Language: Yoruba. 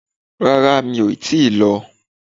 Rárá, mi o ti lo